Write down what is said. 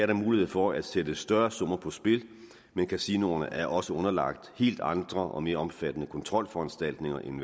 der mulighed for at sætte større summer på spil men kasinoerne er også underlagt helt andre og mere omfattende kontrolforanstaltninger end